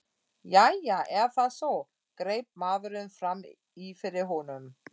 Jæja, er það svo? greip maðurinn fram í fyrir honum.